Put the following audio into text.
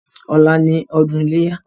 Ọlá ni ọdún iléyá.